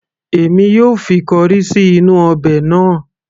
èmi yóò fi corrie sí inú ọbẹ̀ náà